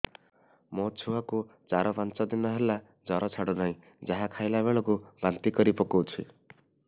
ମୋ ଛୁଆ କୁ ଚାର ପାଞ୍ଚ ଦିନ ହେଲା ଜର ଛାଡୁ ନାହିଁ ଯାହା ଖାଇଲା ବେଳକୁ ବାନ୍ତି କରି ପକଉଛି